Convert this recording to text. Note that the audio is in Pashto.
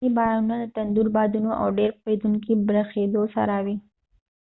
ځیني بارانونه د تندر بادونو او ډیر پیښیدونکی بریښیدو سره وي